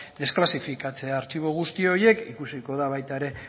desklasifikatzea artxibo guzti horiek ikusiko da baita ere